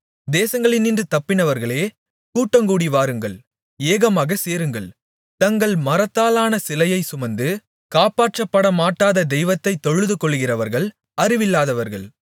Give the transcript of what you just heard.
தேசங்களினின்று தப்பினவர்களே கூட்டங்கூடி வாருங்கள் ஏகமாகச் சேருங்கள் தங்கள் மரத்தாலான சிலையைச் சுமந்து காப்பாற்றமாட்டாத தெய்வத்தைத் தொழுதுகொள்ளுகிறவர்கள் அறிவில்லாதவர்கள்